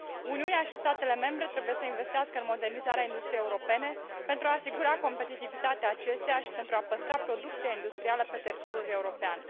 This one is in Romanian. Uniunea și statele membre trebuie să investească în modernizarea industriei europene pentru a asigura competitivitatea acesteia și pentru a păstra producția industrială pe teritoriul european.